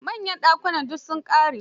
Manyan dakunan su sun ƙare.